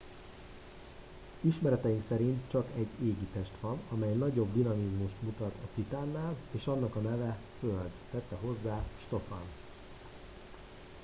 ismereteink szerint csak egy égitest van amely nagyobb dinamizmust mutat a titánnál és annak a neve föld tette hozzá stofan